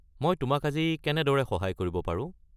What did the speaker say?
মই তোমাক আজি কেনেদৰে সহায় কৰিব পাৰো?